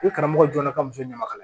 Ni karamɔgɔ jɔlen na ka muso ɲama ka na